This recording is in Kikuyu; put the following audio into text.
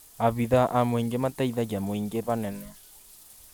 Abitha a mũingĩ mateithagia mũingĩ hanene